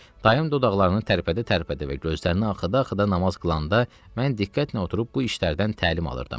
Dayım dodaqlarını tərpədə-tərpədə və gözlərini axıda-axıda namaz qılanda, mən diqqətlə oturub bu işlərdən təlim alırdım.